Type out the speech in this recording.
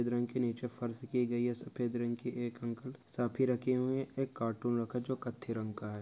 सफ़ेद रंग के नीचे फर्श की गयी है। सफ़ेद रंग की एक अंकल साफ़ी रखी हुए है। एक कार्टून रखा जो कत्थे रंग का है।